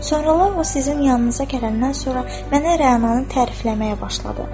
Sonralar o sizin yanınıza gələndən sonra mənə Rəananı tərifləməyə başladı.